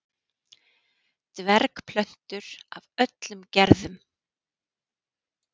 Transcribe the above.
dvergplöntur af öllum gerðum